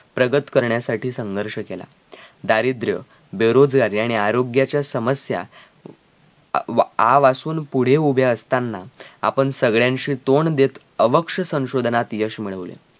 प्रगत करण्यासाठी संघर्ष केला दारिद्र, बेरोजगारी आणि आरोग्याच्या समस्या अं अह आव असून पुढे उभे असताना आपण सगळ्यांशी तोंड देत अवक्ष संशोधनात यश मिळवले.